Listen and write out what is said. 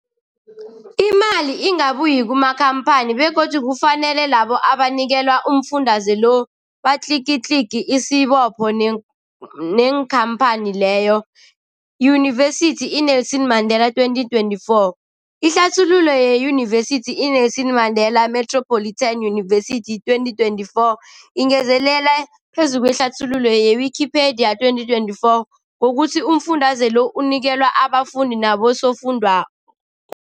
Imali ingabuyi kumakhamphani begodu kufanele labo abanikelwa umfundaze lo batlikitliki isibopho neenkhamphani leyo, Yunivesity i-Nelson Mandela 2024. Ihlathululo yeYunivesithi i-Nelson Mandela Metropolitan University, 2024, ingezelel phezu kwehlathululo ye-Wikipedia, 2024, ngokuthi umfundaze lo unikelwa abafundi nabosofundwakgho.